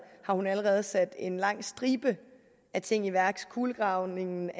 har hun allerede sat en lang stribe af ting i værk kulegravningen